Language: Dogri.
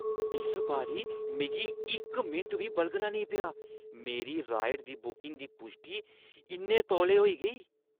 इस बारी मिगी इक मिंट बी बलगना नेईं पेआ। मेरी राइड बुकिंग दी पुश्टी इन्ने तौले होई गेई!